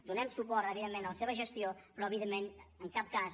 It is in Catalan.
donem suport evidentment a la seva gestió però evidentment en cap cas